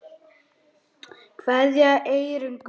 Kveðja, Eyrún Guðna.